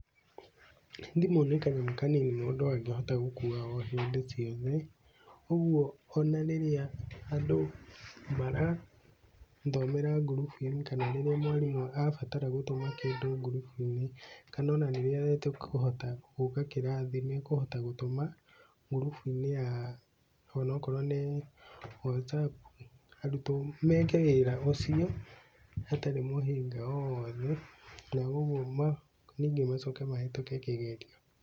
Thimũ nĩ kanyamũ kanini mũndũ angĩhota gũkua o hĩndĩ ciothe, ũguo ona rĩrĩa andũ marathomera ngurubuinĩ kana rĩrĩa mwarimũ abatara gũtũma kĩndũ ngurubuinĩ kana ona rĩrĩa atakũhota gũka kĩrathi nĩekũhota gũtũma ngurubu-inĩ onakorwo nĩ ya Whatsapp arutwo meke wĩra ũcio hatarĩ mũhĩnga o wothe na ũguo macoke mahĩtũke kĩgerio.